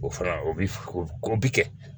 O fana o bi ko bi kɛ